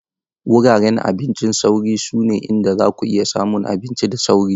Wuraren abincin sauri sune inda zaku iya samun abinci da sauri.